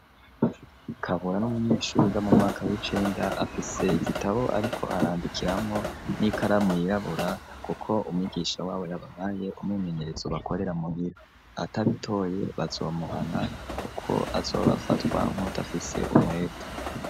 Kabura n'umunyeshuri yiga mu mwaka w'icenda, afise igitabo ariko arandikiramwo n'ikaramu yirabura kuko umwigisha w'abo yabahaye umwimenyerezo bakorera muhira, atabitoye bazomuhana kuko azobafatwa nk'uwudafise umwete.